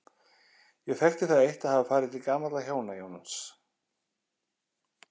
Ég þekkti það eitt að hafa farið til gamalla hjóna, Jóns